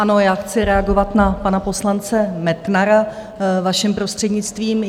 Ano, já chci reagovat na pana poslance Metnara, vaším prostřednictvím.